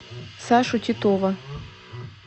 сашу титова